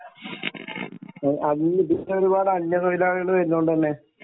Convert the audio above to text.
അത് ഇപ്പോൾ ഒരുപാട് അന്യ തൊഴിലാളികൾ വരുന്നത് കൊണ്ട് തന്നെ